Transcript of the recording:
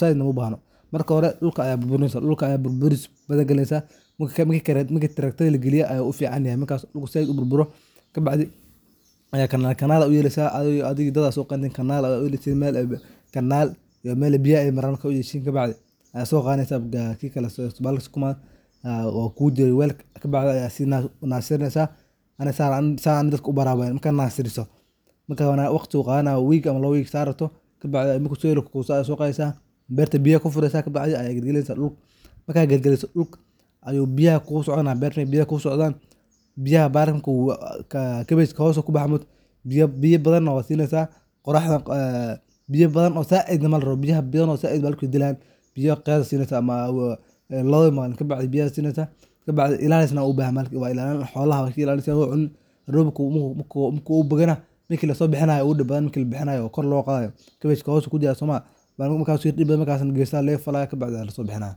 zaidna uma bahno. Marka dhulka ayaa burburinesa, dhulka aya burburis zaid galinesa marki tractor lagaliyo ayey zaid u fican yahay marki dhulka zaid u burburo ,marka kabacdi aya canal canal u yelesa taa adhi iyo dad kale so qadesin canal aa u yelesin kabacdi ayaa sukumaga qadesa q]welka kugu jire, kabacdi ayaa si nasirinesa ,saas ani dadka u baraa weye, markaa nasiriso waqti bu qadanay week ama lawo week bu qadanaya sa rabro, beerto biyo aa kufuresa kabacdi dhulka ayaa biyo galgalinesa oo berta biyo aa kugusoco nayan ,kabashka hoos kubaxa maogtaa, biyo badana waa sineysa ,qoraxda oo biyaha badan oo zaid lamarawo, biyaha badan bahalka wey dilayan, biyo qiyas aa sineysa labo malin kabacdi ,ilaiis wu u bahan yahay xolaha aa kailalinesa marki labihinayo aa ugu dib badan oo kor lo qadayo wayo kabashka hoos u jira somaha ,hoos aya laga falaya kabcdi aa laso bihinaya.